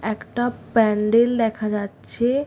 একটা প্যান্ডেল দেখা যাচ্ছে।